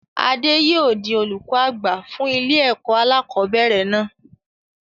Adé yìí ó di olùkọ́ àgbà fún ilé ẹ̀kọ́ alakọ̀bẹ́ẹ́rẹ̀ náà